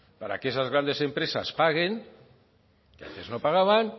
para que esas grandes empresas paguen que antes no pagaban